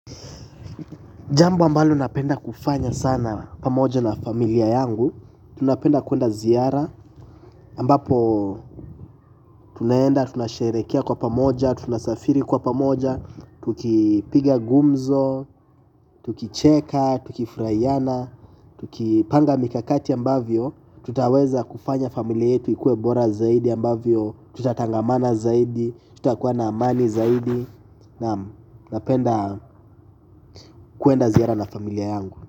Jambo ambalo napenda kufanya sana pamoja na familia yangu. Tunapenda kuenda ziara ambapo tunaenda, tunasherekea kwa pamoja, tunasafiri kwa pamoja. Tukipiga gumzo, tukicheka, tukifurahiana Tukipanga mikakati ambavyo tutaweza kufanya familia yetu ikuebora zaidi ambavyo tutatangamana zaidi, tutakuwa na amani zaidi. Na napenda kuenda ziara na familia yangu.